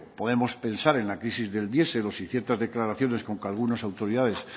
podemos pensar en la crisis del diesel o si ciertas declaraciones con que algunos autoridades